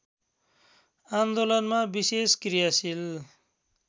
आन्दोलनमा विशेष क्रियाशील